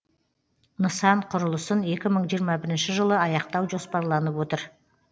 нысан құрылысын екі мың жиырма бірінші жылы аяқтау жоспарланып отыр